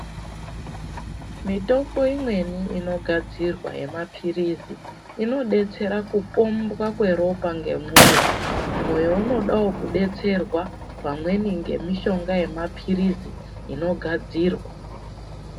Mitombo imweni inogadzirwa yemapiritsi inodetsera kupombwa kweropa ngemoyo, moyo unodawo kudetserwa pamweni nemushonga wemapiritsi inogadzirwa.